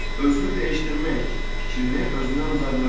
Özünü dəyişdirmək fikrini özündən uzaqlaşdır.